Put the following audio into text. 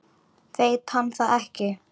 Veit hann það ekki?